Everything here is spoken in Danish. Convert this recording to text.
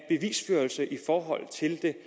den